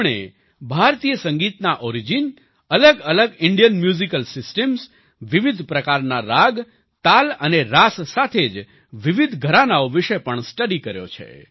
તેમણે ભારતીય સંગીતના ઓરિજિન અલગઅલગ ઇન્ડિયન મ્યુઝિકલ સિસ્ટમ્સ વિવિધ પ્રકારના રાગ તાલ અને રાસ સાથે જ વિવિધ ઘરાનાઓ વિશે પણ સ્ટડી કર્યો છે